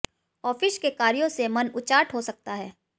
office के कार्यो से मन उचाट हो सकता है